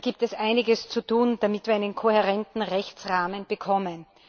Da gibt es einiges zu tun, damit wir einen kohärenten Rechtsrahmen bekommen.